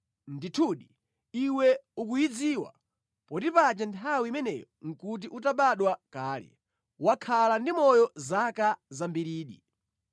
Ndithu, iwe ukuyidziwa, poti paja nthawi imeneyo nʼkuti utabadwa kale! Wakhala ndi moyo zaka zambiridi!